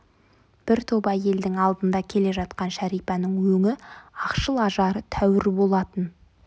бір топ әйелдің алдында келе жатқан шәрипаның өңі ақшыл ажары тәуір болатын